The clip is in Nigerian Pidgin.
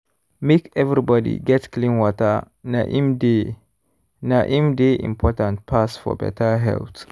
make everybody get clean water na im dey na im dey important pass for better health.